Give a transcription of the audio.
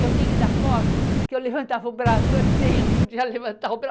Eu tenho ainda a foto que eu levantava o braço assim, eu não podia levantar o